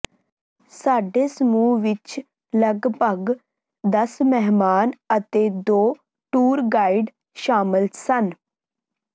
ਸਾਡੇ ਸਮੂਹ ਵਿਚ ਲਗਭਗ ਦਸ ਮਹਿਮਾਨ ਅਤੇ ਦੋ ਟੂਰ ਗਾਈਡ ਸ਼ਾਮਲ ਸਨ